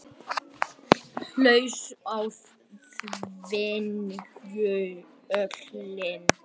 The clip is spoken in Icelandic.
Haust á Þingvöllum.